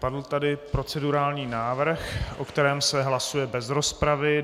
Padl tady procedurální návrh, o kterém se hlasuje bez rozpravy.